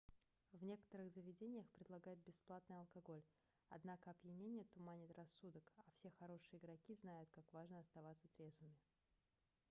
в некоторых заведениях предлагают бесплатный алкоголь однако опьянение туманит рассудок а все хорошие игроки знают как важно оставаться трезвым